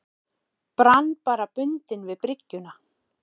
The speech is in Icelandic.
Brann bara bundinn við bryggjuna.